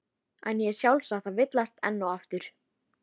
En ég er sjálfsagt að villast enn og aftur.